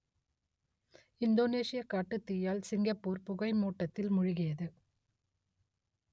இந்தோனேஷியக் காட்டுத்தீயால் சிங்கப்பூர் புகை மூட்டத்தில் மூழ்கியது